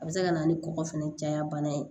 A bɛ se ka na ni kɔgɔ fɛnɛ caya bana ye